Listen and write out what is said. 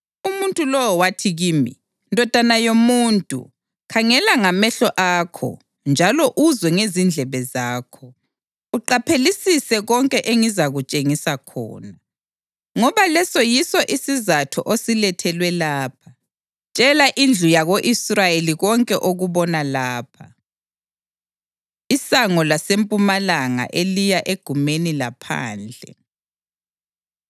Umuntu lowo wathi kimi, “Ndodana yomuntu, khangela ngamehlo akho njalo uzwe ngezindlebe zakho, uqaphelisise konke engizakutshengisa khona, ngoba leso yiso isizatho osilethelwe lapha. Tshela indlu yako-Israyeli konke okubona lapha.” Isango Lasempumalanga Eliya Egumeni Laphandle